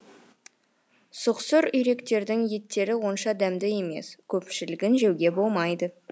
сұқсыр үйректердің еттері онша дәмді емес көпшілігін жеуге болмайды